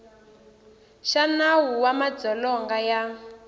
xa nawu wa madzolonga ya